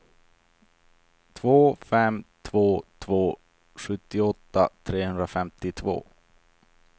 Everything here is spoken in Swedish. två fem två två sjuttioåtta trehundrafemtiotvå